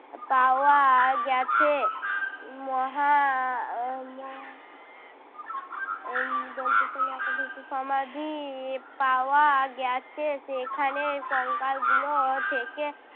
পাওয়া গেছে। উহ মহা আহ মহা উম দন্তেস ম আকার ধ হশ্যি সমাধি পাওয়া গেছে সেখানে কঙ্কাল গুলো থেকে